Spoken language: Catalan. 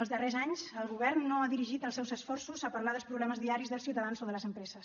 els darrers anys el govern no ha dirigit els seus esforços a parlar dels problemes diaris dels ciutadans o de les empreses